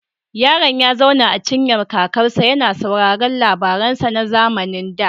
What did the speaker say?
Yaron ya zauna a cinyar kakansa, yana sauraron labaransa na zamanin da.